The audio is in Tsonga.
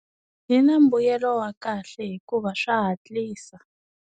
Yi na mbuyelo wa kahle hikuva swa hatlisa.